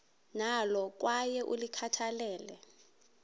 nalo kwaye ulikhathalele